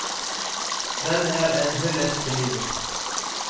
Den er en hyllest til livet.